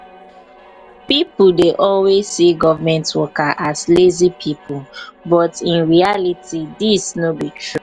people dey always see government workers as lazy pipo but in reality dis no be true